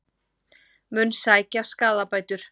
Mun sækja skaðabætur